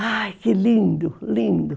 Ai, que lindo, lindo.